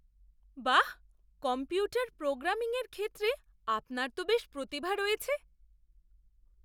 বাহ! কম্পিউটার প্রোগ্রামিংয়ের ক্ষেত্রে আপনার তো বেশ প্রতিভা রয়েছে।